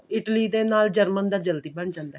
Italy ਨੇ ਨਾਲ german ਦਾ ਜਲਦੀ ਬਣ ਜਾਂਦਾ ਹੈ